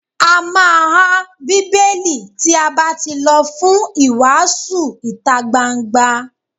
A má há Bíbélì tí a bá tí lọ fún ìwàásù ìtagbangba.